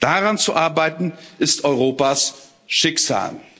Daran zu arbeiten, ist Europas Schicksal.